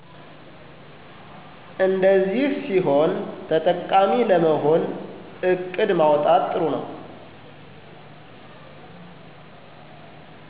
እንደዚህ ሲሆን ተጠቃሚ ለመሆን እቅድ ማውጣት ጥሩ ነው።